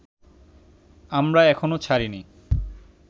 আমরা এখনো ছাড়িনি